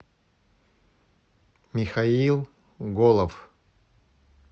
михаил голов